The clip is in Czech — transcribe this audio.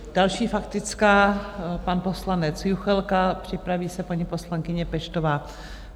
Další faktická - pan poslanec Juchelka, připraví se paní poslankyně Peštová.